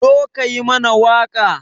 Zo ka yi mana waƙa